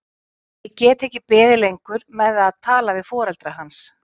Ég get ekki beðið lengur með að tala við foreldra hans.